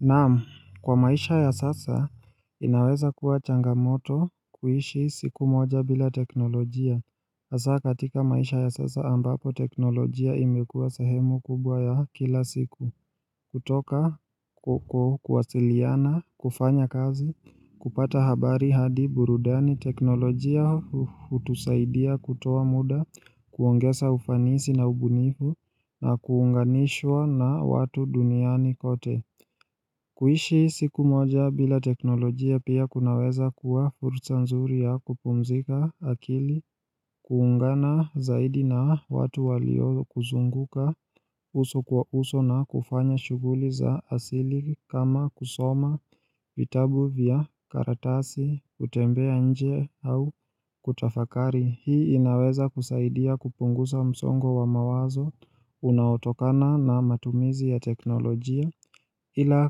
Naam kwa maisha ya sasa inaweza kuwa changamoto kuishi siku moja bila teknolojia Asa katika maisha ya sasa ambapo teknolojia imekua sehemu kubwa ya kila siku kutoka kuwasiliana kufanya kazi kupata habari hadi burudani teknolojia hutusaidia kutoa muda kuongesa ufanisi na ubunifu na kuunganishwa na watu duniani kote kuishi siku moja bila teknolojia pia kunaweza kuwa fursa nzuri ya kupumzika akili kuungana zaidi na watu walio kuzunguka uso kwa uso na kufanya shughuli za asili kama kusoma vitabu vya karatasi, utembea nje au kutafakari. Hii inaweza kusaidia kupungusa msongo wa mawazo unaotokana na matumizi ya teknolojia Hila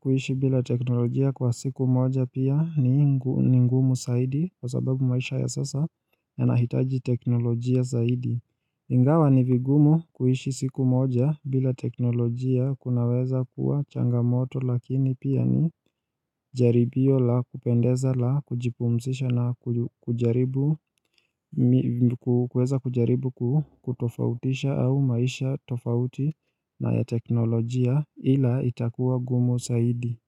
kuhishi bila teknolojia kwa siku moja pia ni ngumu saidi Kwa sababu maisha ya sasa ya nahitaji teknolojia zaidi Ingawa ni vigumu kuhishi siku moja bila teknolojia kunaweza kuwa changamoto Lakini pia ni jaribio la kupendeza la kujipumsisha na kujaribu Kweza kujaribu kutofautisha au maisha tofauti na ya teknolojia ila itakuwa gumu saidi.